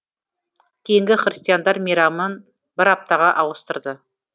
кейін христиандар мейрамын бір аптаға ауыстырды